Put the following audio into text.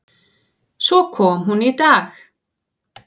Svo kom hún í dag.